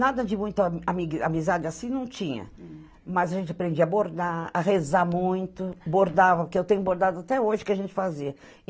Nada de muita ami amizade assim não tinha, mas a gente aprendia a bordar, a rezar muito, bordava, que eu tenho bordado até hoje, o que a gente fazia.